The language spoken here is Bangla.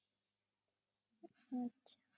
আচ্ছা